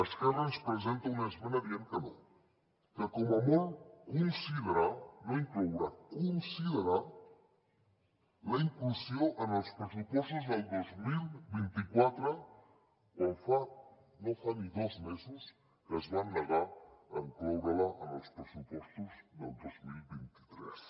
esquerra ens presenta una esmena dient que no que com a molt considerar no incloure considerar la inclusió en els pressupostos del dos mil vint quatre quan no fa ni dos mesos que es van negar a incloure la en els pressupostos del dos mil vint tres